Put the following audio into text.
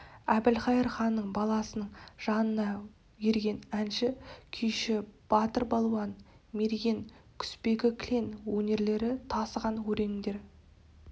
әбілқайыр ханның баласының жанына ерген әнші күйші батыр балуан мерген құсбегі кілең өнерлері тасыған өрендер